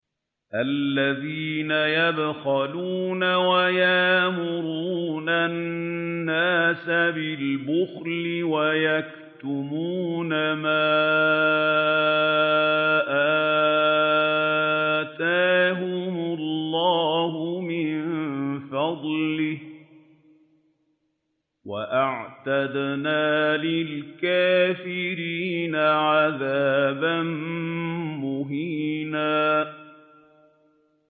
الَّذِينَ يَبْخَلُونَ وَيَأْمُرُونَ النَّاسَ بِالْبُخْلِ وَيَكْتُمُونَ مَا آتَاهُمُ اللَّهُ مِن فَضْلِهِ ۗ وَأَعْتَدْنَا لِلْكَافِرِينَ عَذَابًا مُّهِينًا